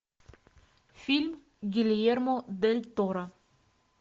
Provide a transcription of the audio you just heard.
фильм гильермо дель торо